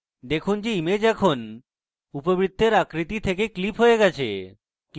দেখুন যে image এখন উপবৃত্তের আকৃতি থেকে ক্লিপ হয়ে গেছে